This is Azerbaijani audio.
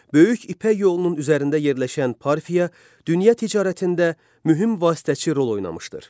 Böyük İpək yolunun üzərində yerləşən Parfiya, dünya ticarətində mühüm vasitəçi rol oynamışdır.